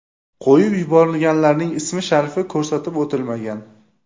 Qo‘yib yuborilganlarning ismi-sharifi ko‘rsatib o‘tilmagan.